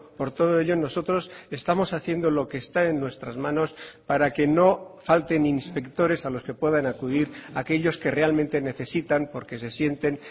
por todo ello nosotros estamos haciendo lo que está en nuestras manos para que no falten inspectores a los que puedan acudir aquellos que realmente necesitan porque se sienten